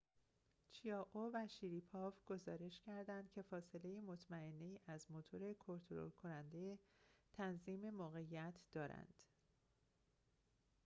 چیائو و شریپاو گزارش کردند که فاصله مطمئنه‌ای از موتور کنترل کننده تنظیم موقعیت دارند